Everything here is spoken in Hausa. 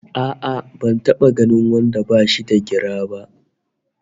A'a ban taba ganin wanda bashi da gira ba!